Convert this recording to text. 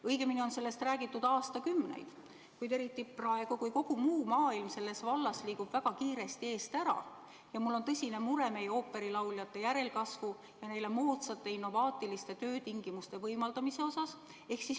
Õigemini on sellest räägitud aastakümneid, kuid eriti praegu, kui kogu muu maailm selles vallas liigub väga kiiresti eest ära, on mul tõsine mure meie ooperilauljate järelkasvu ja neile moodsate innovaatiliste töötingimuste võimaldamise pärast.